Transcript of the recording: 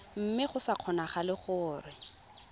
mme go sa kgonagale gore